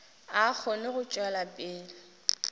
a kgone go tšwela pele